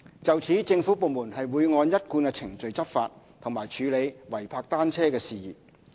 就此，政府部門會按一貫程序執法和處理違泊單車事宜。